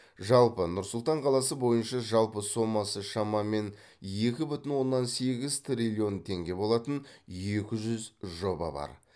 жалпы нұр сұлтан қаласы бойынша жалпы сомасы шамамен екі бүтін оннан сегіз триллион теңге болатын екі жүз жоба бар